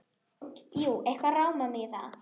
Jú, eitthvað rámar mig í það.